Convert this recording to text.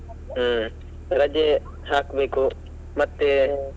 ಹ್ಮ್ ರಜೆ ಹಾಕ್ಬೇಕು